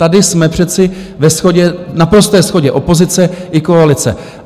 Tady jsme přece ve shodě, v naprosté shodě, opozice i koalice.